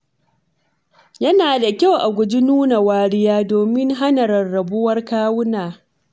Yana da kyau a guji nuna wariya domin hana rarrabuwar kawuna.